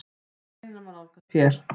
Greinina má nálgast hér.